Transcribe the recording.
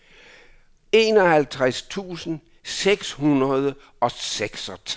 enoghalvtreds tusind seks hundrede og seksogtres